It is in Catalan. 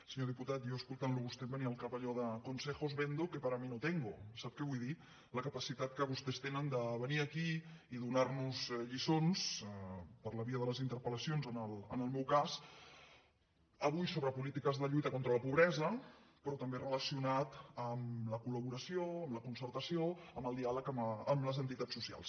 senyor diputat jo escoltant lo a vostè em venia al cap allò de consejos vendo que para mí no tengovull dir la capacitat que vostès tenen de venir aquí i donar nos lliçons per la via de les interpel·lacions en el meu cas avui sobre polítiques de lluita contra la pobresa però també relacionat amb la col·laboració amb la concertació amb el diàleg amb les entitats socials